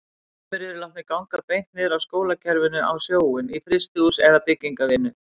Sumir yrðu látnir ganga beint niður af skólakerfinu á sjóinn, í frystihús eða byggingarvinnu.